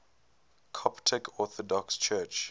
coptic orthodox church